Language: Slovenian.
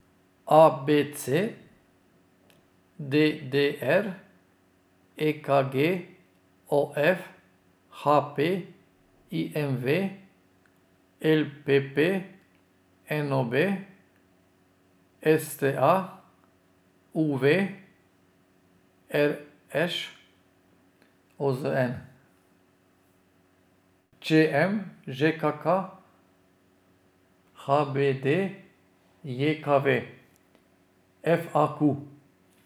A B C; D D R; E K G; O F; H P; I M V; L P P; N O B; S T A; U V; R Š; O Z N; Č M; Ž K K; H B D J K V; F A Q.